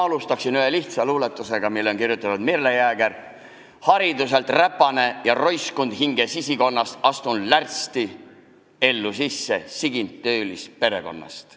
Alustaksin ühe lihtsa luuletusega, mille on kirjutanud Merle Jääger: "Hariduselt räpane ja roiskund hinge sisikonnas, astun lärtsti ellu sisse, sigind töölisperekonnast.